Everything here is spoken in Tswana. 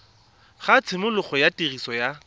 ga tshimologo ya tiriso ya